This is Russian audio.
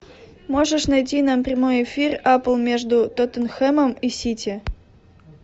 можешь найти нам прямой эфир апл между тоттенхэмом и сити